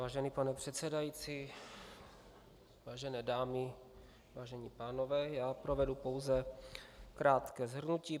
Vážený pane předsedající, vážené dámy, vážení pánové, já provedu pouze krátké shrnutí.